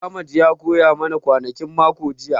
Ahmed ya koya ma na kwanakin mako jiya